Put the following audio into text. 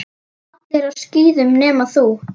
Allir á skíðum nema þú.